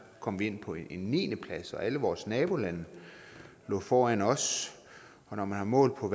kom vi ind på en niendeplads og alle vores nabolande lå foran os og når man har målt på